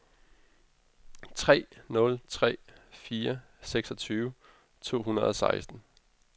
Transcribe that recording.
tre nul tre fire seksogtyve to hundrede og seksten